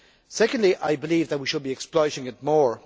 Secondly, I believe that we should be exploiting it more.